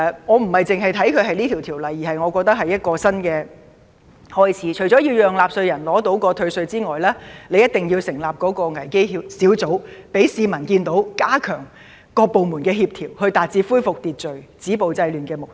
我並非純粹視其為一項法案，而是我覺得它是一個新開始，除了要讓納稅人獲得退稅外，當局亦一定要成立危機小組，讓市民看到當局加強各部門的協調，以達致恢復秩序、止暴制亂的目的。